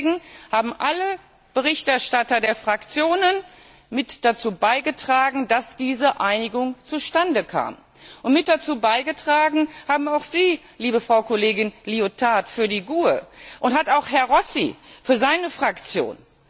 Deswegen haben alle Berichterstatter der Fraktionen mit dazu beigetragen, dass diese Einigung zustande kam. Mit dazu beigetragen haben auch Sie, liebe Frau Kollegin Liotard für die GUE, und hat auch Herr Rossi für seine Fraktion.